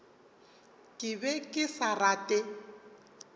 ke be ke sa rate